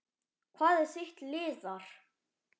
Hvað er þitt lið þar?